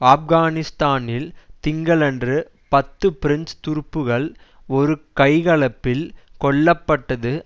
ஆப்கானிஸ்தானில் திங்களன்று பத்து பிரெஞ்சு துருப்புகள் ஒரு கைகலப்பில் கொல்ல பட்டது